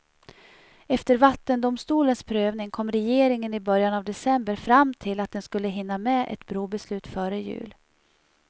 Efter vattendomstolens prövning kom regeringen i början av december fram till att den skulle hinna med ett brobeslut före jul.